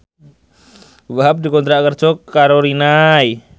Wahhab dikontrak kerja karo Rinnai